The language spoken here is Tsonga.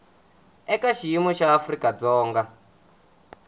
eka xiyimo xa afrika dzonga